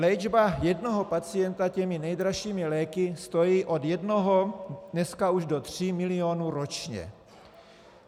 Léčba jednoho pacienta těmi nejdražšími léky stojí od jednoho dneska už do tří milionů ročně.